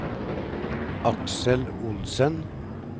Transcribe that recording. Aksel Olsen